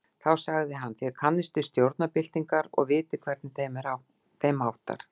Þá sagði hann. þér kannist við stjórnarbyltingar og vitið, hvernig þeim háttar.